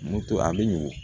Muto a bɛ ɲugu